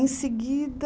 Em seguida...